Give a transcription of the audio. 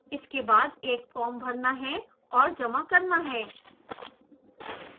इसके बाद एक फॉर्म भरना और जमा करना है